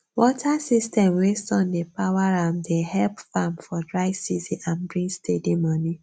water system wey sun dey power am dey help farm for dry season and bring steady money